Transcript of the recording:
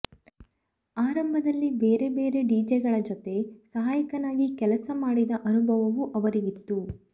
ಆರಂಭದಲ್ಲಿ ಬೇರೆ ಬೇರೆ ಡಿಜೆಗಳ ಜತೆ ಸಹಾಯಕನಾಗಿ ಕೆಲಸ ಮಾಡಿದ ಅನುಭವವೂ ಅವರಿಗಿತ್ತು